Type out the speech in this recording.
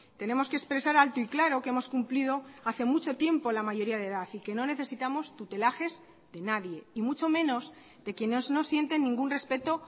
tenemos que expresar alto y claro que hemos cumplido hace mucho tiempo la mayoría de edad y que no necesitamos tutelajes de nadie y mucho menos de quienes no sienten ningún respeto